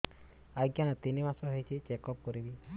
ଆଜ୍ଞା ତିନି ମାସ ହେଇଛି ଚେକ ଅପ କରିବି